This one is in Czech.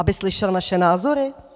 Aby slyšel naše názory?